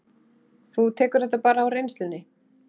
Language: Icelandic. Þú tekur þetta bara á reynslunni?